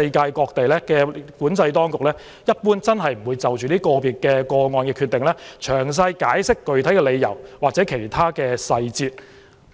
例，各地出入境管制當局一般不會就個別個案的決定，詳細解釋具體理由或其他細節。